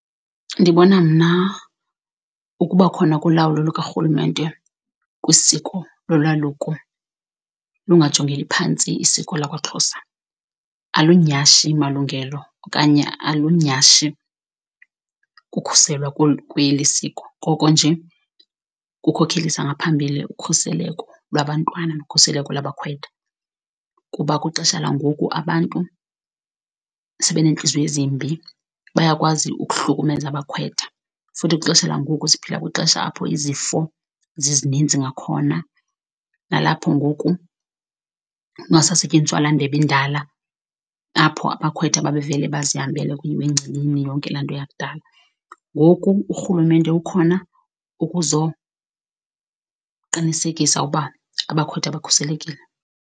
Ndibona mna ukuba khona kolawulo lukarhulumente kwisiko lolwaluko lungajongeli phantsi isiko lakwaXhosa. Alunyhashi malungelo okanye alunyhashi kukhuselwa kweli siko, koko nje kukhokhelisa ngaphambili ukhuseleko lwabantwana nokhuseleko lwabakhwetha, kuba kwixesha langoku abantu sebeneentliziyo ezimbi bayakwazi ukuhlukumeza abakhwetha. Futhi kwixesha langoku siphila kwixesha apho izifo zizininzi ngakhona, nalapho ngoku kungasasetyenziswa laa ndebe indala apho abakhwetha babevele bazihambele kuyiwe engcibini yonke laa nto yakudala, ngoku urhulumente ukhona ukuzoqinisekisa uba abakhwetha bakhuselekile